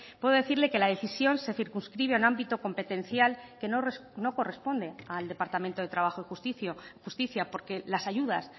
puedo decirle que la decisión se circunscribe a un ámbito competencial que no corresponde al departamento de trabajo y justicia porque las ayudas